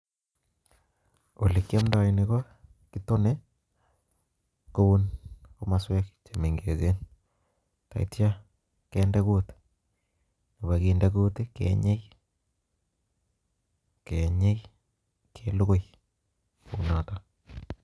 Koroi ko olekiomdoi ketone komoswek chemengechen, yetyo kindee kuut ak kokinde kuut, kenyei ak kelugui kounoton